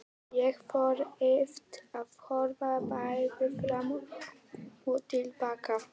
Ég þurfti að horfa bæði fram og til baka.